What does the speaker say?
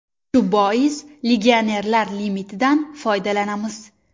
Shu bois, legionerlar limitidan foydalanamiz”.